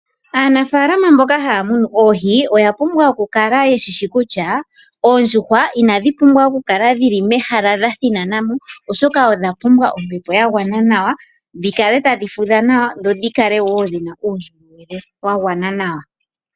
Aanafalama mboka haya munu oohi oya pumbwa oku kala yeshishi kutya oohi inadhi pumbwa oku kala dhili me hala dha thinanamo oshoka odha pumbwa ombepo ya gwana nawa dhi kale tadhi fudha nawa dho dhi kale wo dhina uundjolowele wa gwana nawa.